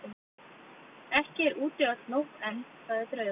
Ekki er úti öll nótt enn, sagði draugurinn.